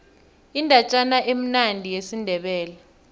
indatjana emnandi yesindebele